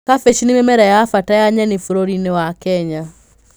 Kabici nĩ mĩmera ya bata ya nyeni bũrũri-inĩ wa kenya.